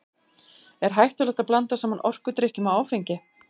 Er hættulegt að blanda saman orkudrykkjum og áfengi?